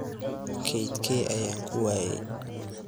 Kaydkee ayaan ku waayay?